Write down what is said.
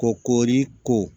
Ko koori ko